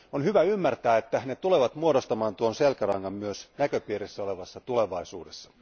On hyvä ymmärtää, että ne tulevat muodostamaan tuon selkärangan myös näköpiirissä olevassa tulevaisuudessa.